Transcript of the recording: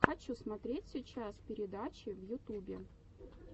хочу смотреть сейчас передачи в ютубе